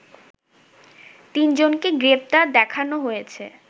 তিনজনকে গ্রেফতার দেখানো হয়েছে